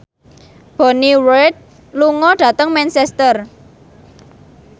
Bonnie Wright lunga dhateng Manchester